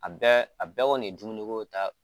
A bɛɛ a bɛɛ kɔni ye dumuniko ta